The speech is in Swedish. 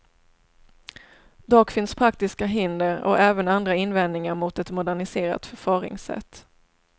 Dock finns praktiska hinder och även andra invändningar mot ett moderniserat förfaringssätt.